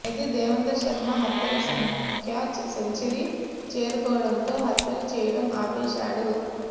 అయితే దేవేంద్ర శర్మ హత్యల సంఖ్య సెంచరీ చేరుకోవడంతో హత్యలు చేయడం ఆపేశాడు